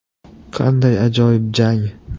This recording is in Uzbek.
Qanday ajoyib jang?!